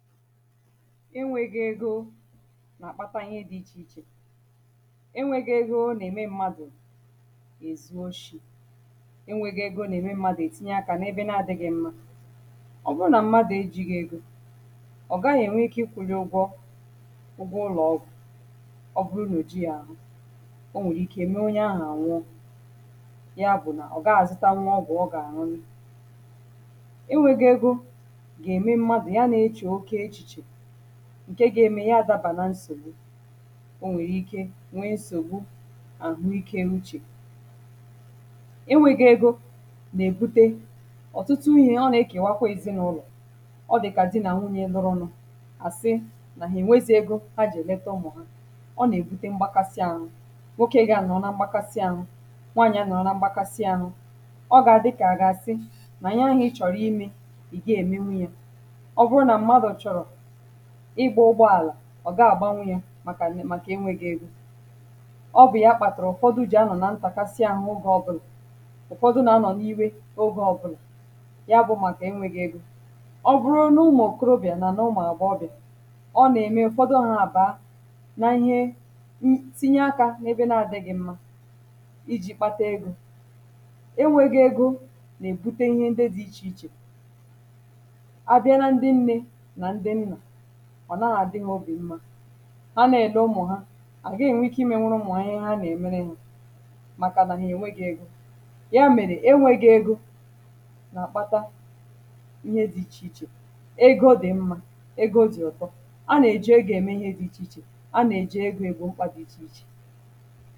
enweghị ego na-akpata ihe dị ichè ichè enweghị ego ọ na-eme mmadụ ga-ezuo shì enweghị ego na-eme mmadụ ètinye akȧ na ebe na-adị gị mmȧ ọ bụrụ na mmadụ e ji gị ego ọ gaghị enwe ike ịkwụ̇lị ụgwọ̇ ube ụlọ̀ ọgwụ̀ ọ bụrụnụ ji ya ahụ o nwèrè ike mee onye ahụ ànwụọ ya bụ̀ nà ọ gaghị azụta nwụọ ọgwụ ọ gà-àṅụnị enweghị ego ga-eme mmadụ ǹke ga-eme ya adabà na nsògbu o nwèrè ike nwee nsògbu àhụ ikė uchè enwėghi̇ ego nà-èbute ọ̀tụtụ ihe ọ nà-ekèwakwa ezinàụlọ̀ ọ dị̀ kà di nà nwunyė nụrụnụ̇ àsị nà hà ènwezi egȯ a jè leta umù ha ọ nà-èbute mgbakasị anụ̇ nwokė gà-ànụ̀ ọ nà mgbakasị anụ̇ nwanya nà ọ na mgbakasị anụ̇ ọ gà-àdịkà àgà àsị nà nye àhụ i chọ̀rọ̀ imė ì gi èmenwu yȧ ọ̀ gaa àgbanwu yȧ màkà ẹnẹ màkà ẹnwẹ gị̇ egȯ ọ bụ̀ ya kpàtàrà ụ̀fọdụ ji̇ anọ̀ nà ntàkasị ahụ ụgȧ ọ bụrụ̇ ụ̀fọdụ nà anọ̀ n’iwė ogė ọ bụrụ̇ ya bụ màkà ẹnwẹ gị̇ egȯ ọ bụrụ n’ụmụ̀ okorobị̀à nà n’ụmụ̀ àgba ọbị̀à ọ nà-ẹmẹ ụ̀fọdụ ọ hȧbȧȧ nà ihe n tinye akȧ n’ebe na-adị̇ghị̇ mmȧ iji̇ kpata egȯ ẹnwẹ gị̇ egȯ nà-èbute ihe ndị dị ichè ichè ọ naghȧ dị̇ ha obì mma anà èle ụmụ̀ ha àgà ènwe ike ị mėnwụrụ ụmụ̀ anyị ha na-emere ha màkàdà nà ha ènwe gị̇ egȯ ya mèrè enwe gị̇ ego nà-àkpata ihe dị̇ ichè ichè ego dị̀ mma, ego dị̀ ụ̀tọ anà-èje ego ème ihe dị̇ ichè ichè anà-èje ego ebe okpa dị̇ ichè ichè